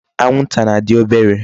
Anwụnta na-adị obere.